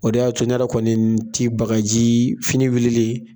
O de y'a to ne yɛrɛ kɔni tɛ bagaji, fini wulilen